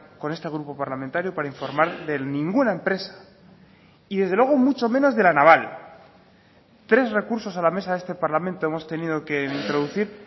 con este grupo parlamentario para informar de ninguna empresa y desde luego mucho menos de la naval tres recursos a la mesa de este parlamento hemos tenido que introducir